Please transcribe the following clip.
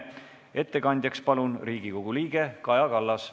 Ettekandjaks palun Riigikogu liikme Kaja Kallase.